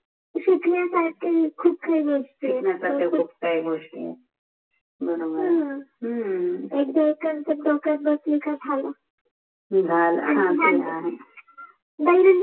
शिकण्य सारख्या खूप काहि गोष्टी आहेत शिकण्य सारख्या खूप काहि गोष्टी आहेत बरोबर हम्म एकदा कन्सेप्ट डोक्यात बसला कि झाल हम्म ह ते आहे म्हणजे